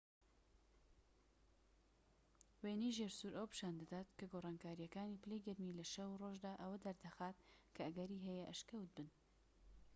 وێنەی ژێرسوور ئەوە پیشان دەدات کە گۆڕانکاریەکانی پلەی گەرمی لە شەو و ڕۆژدا ئەوە دەردەخات کە ئەگەری هەیە ئەشکەوت بن